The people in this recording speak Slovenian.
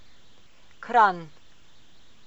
Kranj.